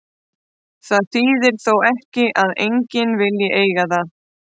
Það þýðir þó ekki að enginn vilji eiga það.